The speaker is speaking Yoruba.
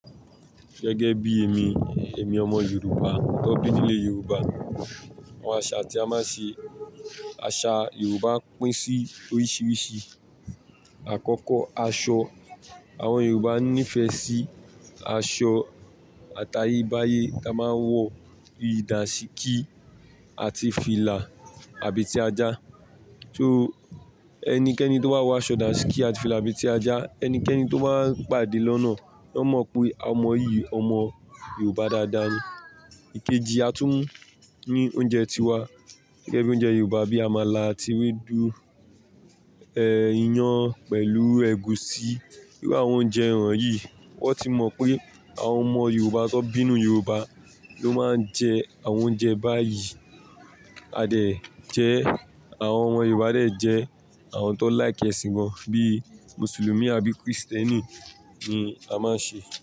Gẹ́gẹ́ bí èmi, èmi ọmọ Yorùbá tó bí nílẹ̀ Yorùbá, àwọn àṣà tí a máa ń ṣe, àṣà Yorùbá pín sí oríṣiríṣi. Àkọ́kọ́ aṣọ, àwọn Yorùbá ní ìfẹ́ sí aṣọ àtayébáyé. A máa ń wọ ìdà ṣíkí àti fìlà àbí ti ajá. So ẹnikẹ́ni tó wá wọ aṣọ ìdà ṣíkí àti fìlà àbí ti ajá, ẹnikẹ́ni tó máa pàdé lọ́nà, ó mọ̀ pé ọmọ yìí, ọmọ Yorùbá dáadáa ni. Ikeji, a tún ní oúnjẹ tiwa. Gẹ́gẹ́ bí oúnjẹ Yorùbá bí amala àti ewédú, ẹ́, iyán pẹ̀lú ẹ̀gúsí. Bí i àwọn oúnjẹ ìràn yìí, wọ́n ti mọ̀ pé àwọn ọmọ Yorùbá tan bi sinu Yorùbá ló máa ń jẹ àwọn oúnjẹ báyìí. A dẹ̀ jẹ, àwọn ọmọ Yorùbá a dẹ̀ jẹ àwọn tó láìkẹ́ ẹ̀sìn gan bí Mùsùlùmí àbí Krístẹ́nì ni a máa ń ṣe.